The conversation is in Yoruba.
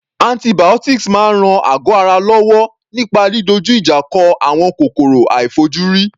Antibiotics máa ń ran àgọ́ ara wa lọ́wọ́ nípa didojú ìjà kọ àwọn kòkòrò àìfojúrí.